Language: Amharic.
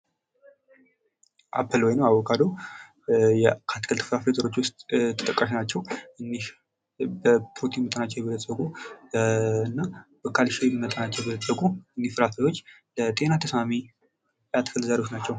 አፕል ወይም አቮካዶ የአትክልት ፍራፍረዎች ዉስጥ ተጠቃሽ ናቸዉ ፤እኝህ በፕሮትን መጠናቸዉ የበለጸጉ እና በካልሸም መጠናቸዉ የበለጸጉ እኝህ ፍራፍረዎች ለጠና ተሰማም የአትክልት ዘሮች ናቸው።